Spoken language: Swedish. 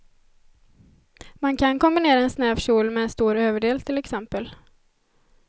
Man kan kombinera en snäv kjol med en stor överdel till exempel.